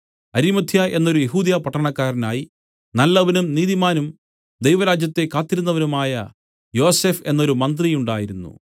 അരിമത്ഥ്യ എന്നൊരു യെഹൂദ്യപട്ടണക്കാരനായി നല്ലവനും നീതിമാനും ദൈവരാജ്യത്തെ കാത്തിരുന്നവനുമായ യോസഫ് എന്നൊരു മന്ത്രി ഉണ്ടായിരുന്നു